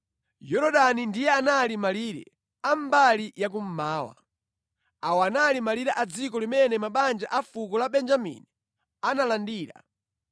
Yorodani ndiye anali malire a mbali ya kummawa. Awa anali malire a dziko limene mabanja a fuko la Benjamini analandira.